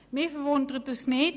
» Mich wundert dies nicht.